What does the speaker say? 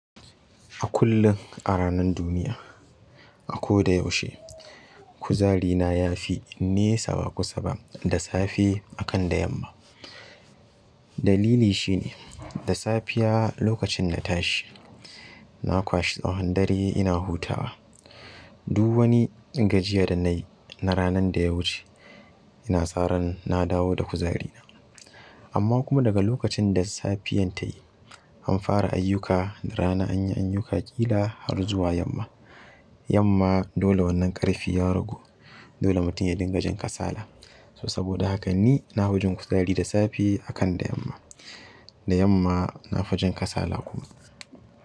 A kullum a ranar duniya, a ko da yaushe kuzari na yafi nesa ba kusa ba da safe akan da yamma. Dalili shine da safiya lokacin na tashi na kwashe tsahon dare ina hutawa. Duk wani gajiya da nayi na ranar da ya wuce, ina sa ran na dawo da kuzari na. Amma kuma daga lokacin da safiyan tayi an fara ayyuka, da rana anyi ayyuka ƙila har zuwa yamma. Yamma dole wannan ƙarfi ya ragu, dole mutum ya dinga jin kasala. So saboda hakan ni na fi jin wajen kuzari da safe akan da yamma. Da yamma na fi jin kasala kuma.